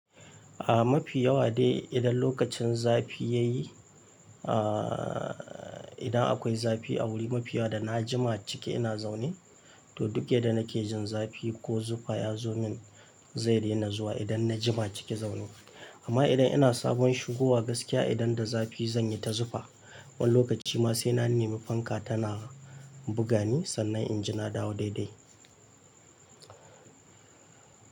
Ah mafi yawa dai idan lokacin zafi ya yi, ah idan akwai zafi a wuri mafi yawa da na jima ciki ina zaune, to duk yadda nake jin zafi ko zufa ya zo min zai daina zuwa idan na jima ciki zaune. Amma idan ina sabon shigowa gaskiya idan da zafi zan yi ta zufa. Wani lokaci ma sai na nemi fanka tana buga ni sannan in ji na dawo daidai.